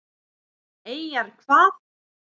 Eyjar hvað?